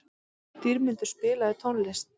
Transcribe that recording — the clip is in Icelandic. Dýrmundur, spilaðu tónlist.